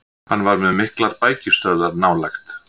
Hann var með miklar bækistöðvar nálægt